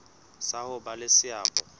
sa ho ba le seabo